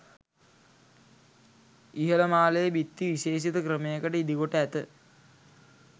ඉහළ මාලයේ බිත්ති විශේෂිත ක්‍රමයකට ඉදි කොට ඇත